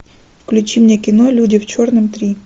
включи мне кино люди в черном три